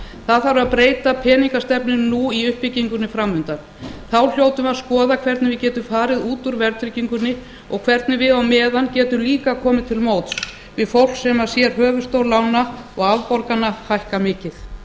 það þarf að breyta peningastefnunni nú í uppbyggingunni fram undan þá hljótum við að skoða hvernig við getum farið út úr verðtryggingunni og hvernig við á meðan getum líka komið til móts við fólk sem sér höfuðstól lána og afborgana hækka mikið